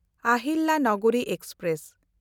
Ahilyanagari express